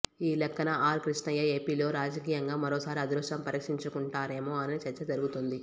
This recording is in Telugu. ఈ లెక్కన ఆర్ క్రిష్ణయ్య ఏపీలో రాజకీయంగా మరో సారి అదృష్టం పరీక్షించుకుంటారేమో అనే చర్చ జరుగుతోంది